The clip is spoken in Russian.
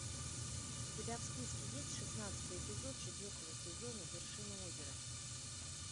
у тебя в списке есть шестнадцатый эпизод четвертого сезона вершина озера